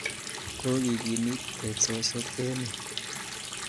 Kokekimit teksosyek eng' yu.